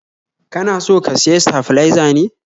kana so ka siya staflizer ne?